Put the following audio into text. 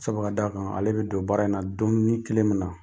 Sabu ka da kan ale be don baara in na donnin kelen min na